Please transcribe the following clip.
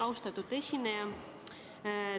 Austatud esineja!